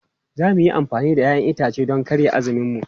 Za mu yi amfani da 'ya'yan itace don karya azuminmu.